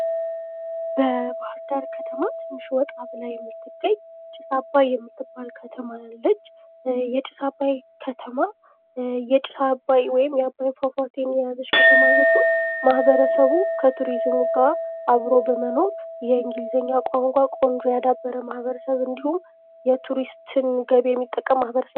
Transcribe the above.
በባህርዳር ከተማ ትንሽ ወጣ ብላ የምትገኝ ጢስ አባይ የምትባል ከተማ አለች። የጢስ አባይ ከተማ የጢስ አባይ ወይም የአባይ ፏፏቴ የያዘች ከተማ ስትሆን፤ ማህበረሰቡ ከቱሪዝሙ ጋር አብሮ በመኖር የእንግሊዘኛ ቋንቋን ጥሩ ያዳበረ እንዲሁም የቱሪስትን ገቢ የሚጠቀም ማህበረሰብ ነው።